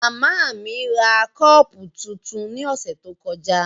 Mama mi ra kọọpu tuntun ni ọsẹ to kọja.